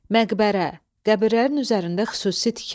Məqbərə – qəbirlərin üzərində xüsusi tikili.